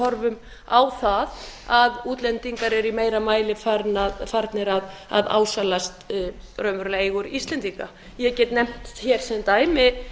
horfum á það að útlendingar eru í meira mæli farnir að ásælast raunverulegar eigur íslendinga ég get nefnt sem dæmi